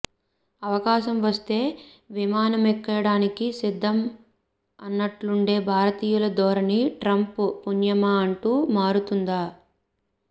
అవకాశం వస్తే విమానమెక్కేయడానికి సిద్ధం అన్నట్లుండే భారతీయుల ధోరణి ట్రంప్ పుణ్యమా అంటూ మారుతుందా